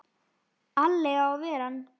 Alli á að ver ann!